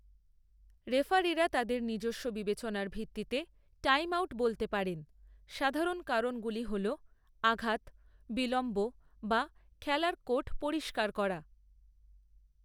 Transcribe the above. রেফারিরা তাদের নিজস্ব বিবেচনার ভিত্তিতে টাইমআউট বলতে পারেন, সাধারণ কারণগুলি হল আঘাত, বিলম্ব, বা খেলার কোর্ট পরিষ্কার করা।